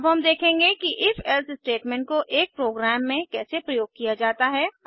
अब हम देखेंगे कि Ifelse स्टेटमेंट को एक प्रोग्राम में कैसे प्रयोग किया जाता है